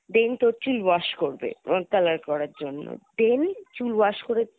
then তোর চুল wash করবে হম color করার জন্যে then চুল wash করে